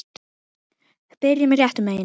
Byrjum réttum megin.